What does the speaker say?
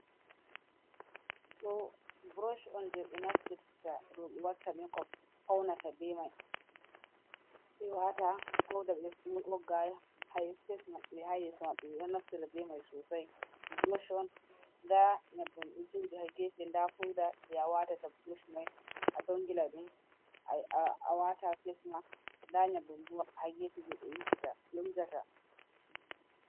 Ɗo burosh on jebenaftita roɓe watta mekop, faunata beimai, ɓewata fauda ɓeɗo wogga ha fesmaɓɓe ha yesumaɓɓe. Ɓeɗo naftida bemai sosai. Brosh on nda nyebbam ɗo joɗi ha gefe, nda fauda je ɓewatata brush mai hadon a dongilai awata dum ha fesma. Nda nyabbam hagefe je ɓe wujata.